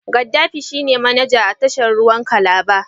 Gaddafi shine manaja a tashar ruwan Calabar.